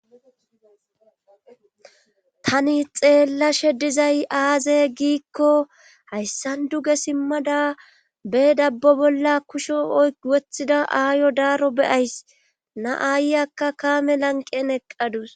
Yani xeella she dizay aaze giikko hayssan duge simmada be dabbo bolla kusho ywothida aayo daaro beyays na7aayy akka kaame lanqen eqqadus.